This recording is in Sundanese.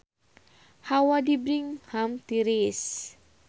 Hawa di Birmingham tiris